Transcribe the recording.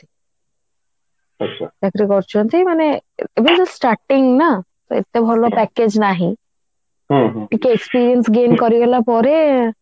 ଚାକିରି କରୁଛନ୍ତି ମାନେ ଏବେ just starting ନା ତ ଏତେ ଭଲ package ନାହି ଟିକେ experience gain କରିଗଲା ପରେ